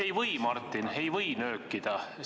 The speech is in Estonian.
Ei või, Martin, ei või nöökida!